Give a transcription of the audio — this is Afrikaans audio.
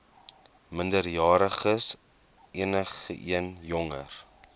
minderjariges enigeen jonger